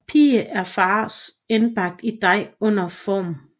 Pie er fars indbagt i dej uden form